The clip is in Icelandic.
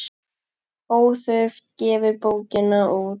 Óþurft gefur bókina út.